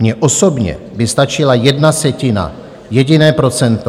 Mně osobně by stačila jedna setina, jediné procento.